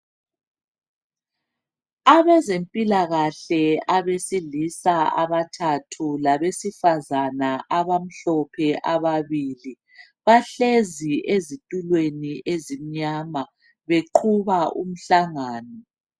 Abezempilakahle abesilisa abathathu labesifazana abamhlophe ababili bahlezi ezitulweni ezimnyama beqhuba umhlangano.